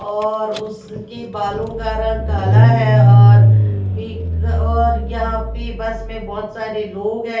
और उसके बालो का रंग काला है और विक और यहाँ पे बस में बहोत सारे लोग है ।